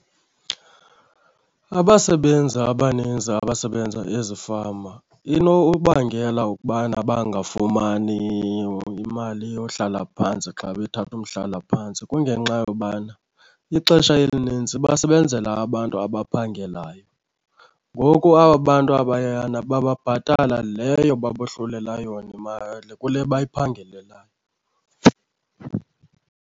Abasebenzi abaninzi abasebenza ezifama inobangela ukubana bangafumani imali yohlala phantsi xa bethatha umhlalaphantsi kungenxa yobana ixesha elinintsi basebenzela abantu abaphangelayo. Ngoku aba bantu abayana bababhatala leyo babohlulela yona imali kule bayiphangelelayo.